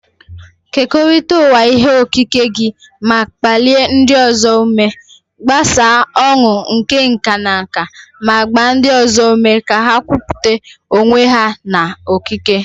Kekọrịta ụwa ihe okike gị ma kpalie ndị ọzọ ume. Gbasaa ọn̄ụ nke nka na nka ma gbaa ndị ọzọ ume ka ha kwupụta onwe ha na okike.